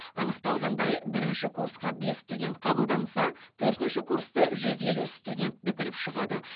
анықталғандай бірінші курсқа бес студент қабылданса төртінші курсты жүз елу студент бітіріп шығады